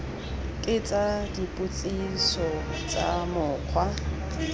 ke tsa dipotsiso tsa mokgwa